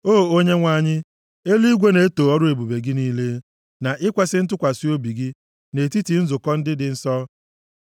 O Onyenwe anyị, eluigwe na-eto ọrụ ebube gị niile, na ikwesi ntụkwasị obi gị, nʼetiti nzukọ ndị dị nsọ.